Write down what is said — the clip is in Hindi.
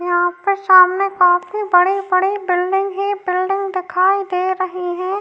यहाँ पे सामने काफी बड़ी-बड़ी बिल्डिंग ही बिल्डिंग दिखाई दे रही है।